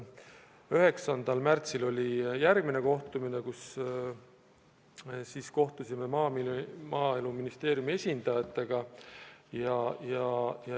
9. märtsil oli järgmine kogunemine, kui me kohtusime Maaeluministeeriumi esindajatega.